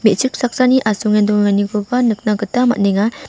me·chik saksani asonge dongenganikoba nikna gita man·enga.